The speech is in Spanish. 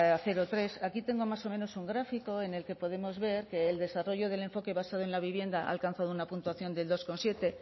cero tres aquí tengo más o menos un gráfico en el que podemos ver que el desarrollo del enfoque basado en la vivienda ha alcanzado una puntuación de dos coma siete